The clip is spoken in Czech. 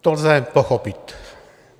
To lze pochopit.